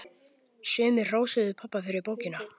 Sumir hrósuðu pabba fyrir bókina.